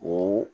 O